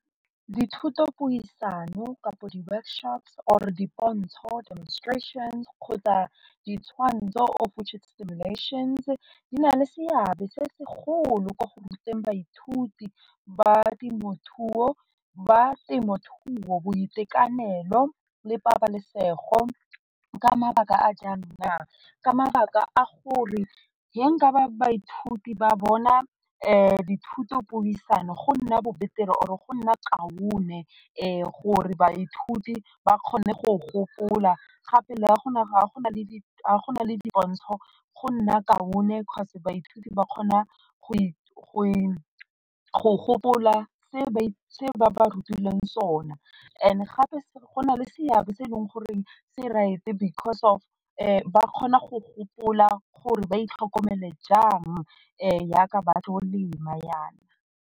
Dithoto puisano kapo di workshops or dipontsho, demonstrations kgotsa ditshwantsho of which di na le seabe se segolo mo go ruteng baithuti ba temothuo ba temothuo boitekanelo le pabalesego ka mabaka a jang na, ka mabaka a gore nka ba baithuti ba bona dithuto puisano go nna bo or e go nna kaone gore baithuti ba kgone go gopola gape le go na le di pontsho go nna kaone cause baithuti ba kgona go gopola se ba ba rutileng sona, and gape go na le seabe se e leng goreng se rate because of ba kgona go gopola gore ba itlhokomele jang jaaka ba tlo lema jaana.